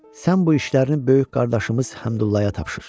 Sən bu işlərini böyük qardaşımız Həmdullaya tapşır.